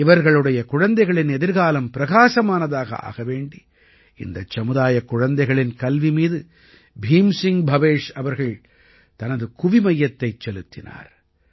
இவர்களுடைய குழந்தைகளின் எதிர்காலம் பிரகாசமானதாக ஆக வேண்டி இந்த சமுதாயக் குழந்தைகளின் கல்வி மீது பீம் சிங் பவேஷ் அவர்கள் தனது குவிமையத்தைச் செலுத்தினார்